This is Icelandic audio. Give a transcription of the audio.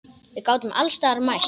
Við gátum alls staðar mæst.